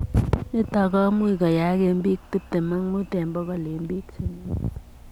Nitok komuuch koyaak eng piik tiptem ak muut eng pokol eng piik chemiandos.